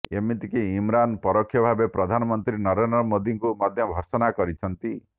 ଏମିତି କି ଇମ୍ରାନ୍ ପରୋକ୍ଷ ଭାବେ ପ୍ରଧାନମନ୍ତ୍ରୀ ନରେନ୍ଦ୍ର ମୋଦୀଙ୍କୁ ମଧ୍ୟ ଭର୍ତ୍ସନା କରିଛନ୍ତି